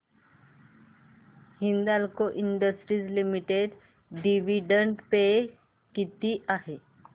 Hindalco industries limited dividend pay किती आहे